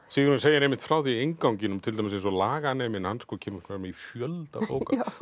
Sigurjón segir einmitt frá því innganginum til dæmis eins og laganeminn hann kemur fram í fjölda bóka